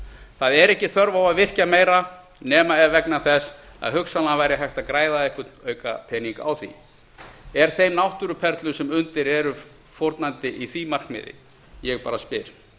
það er ekki þörf á að virkja meira nema ef vegna þess að hugsanlega væri hægt að græða einhvern pening á því er þeim náttúruperlum sem undir eru fórnandi í því markmiði ég bara spyr